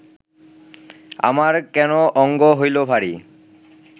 আমার কেন অঙ্গ হৈল ভারি